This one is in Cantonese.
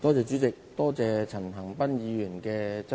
主席，多謝陳恒鑌議員提出質詢。